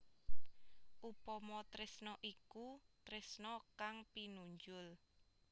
Upama tresna iku tresna kang pinunjul